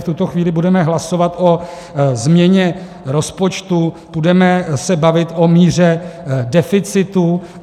V tuto chvíli budeme hlasovat o změně rozpočtu, budeme se bavit o míře deficitu.